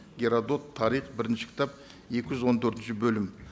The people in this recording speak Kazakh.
геродот тарих бірінші кітап екі жүз он төртінші бөлім